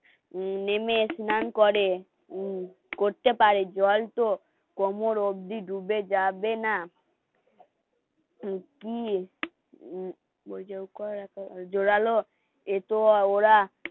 নেমে স্নান করে উম করতে পারে জল তো কোমর অবধি ডুবে যাবে না তো কি? জোরালো এতো ওরা